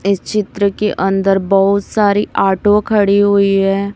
इस चित्र के अंदर बहुत सारी ऑटो खड़ी हुई है।